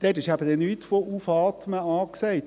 – Dort ist eben dann kein Aufatmen angesagt;